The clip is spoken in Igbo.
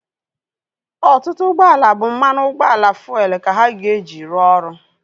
Ọtụtụ ụgbọala bụ mmanụ ụgbọala fuelu ka ha ga-eji rụọ ọrụ